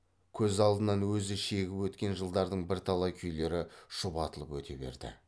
көз алдынан өзі шегіп өткен жылдардың бірталай күйлері шұбатылып өте берді